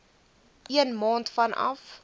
een maand vanaf